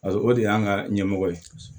o de y'an ka ɲɛmɔgɔ ye